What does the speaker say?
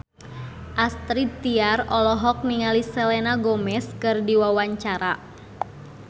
Astrid Tiar olohok ningali Selena Gomez keur diwawancara